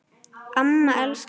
Amma elskar þig